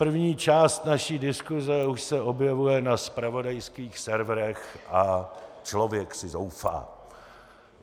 První část naší diskuse už se objevuje na zpravodajských serverech a člověk si zoufá.